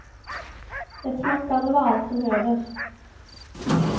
Ett smackande var allt som hördes.